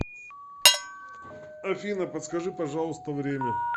афина подскажи пожалуйста время